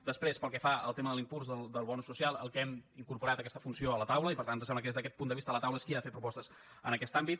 després pel que fa al tema de l’impuls del bonus social hem incorporat aquesta funció a la taula i per tant ens sembla que des d’aquest punt de vista la taula és qui ha de fer propostes en aquest àmbit